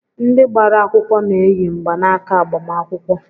Ndị gbara akwụkwọ na-eyi mgbanaaka agbamakwụkwọ.